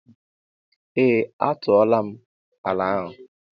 Ee m a tuola m ala ahụ.